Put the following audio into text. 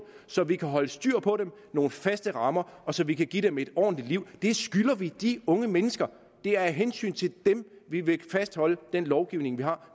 så vi kan holde styr på dem nogle faste rammer og så vi kan give dem et ordentligt liv det skylder vi de unge mennesker det er af hensyn til dem vi vil fastholde den lovgivning vi har